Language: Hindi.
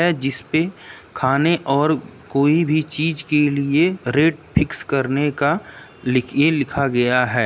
जिसपे खाने और कोई भी चीज के लिए रेट फिक्स करने का लि ये लिखा गया है।